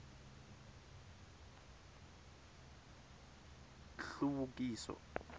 hluvukiso